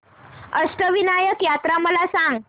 अष्टविनायक यात्रा मला सांग